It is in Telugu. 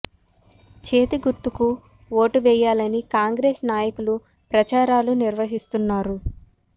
చేతి గుర్తుకు ఓటే యాలని కాంగ్రెస్ నాయకులు ప్రచారాలు నిర్వహి స్తున్నారు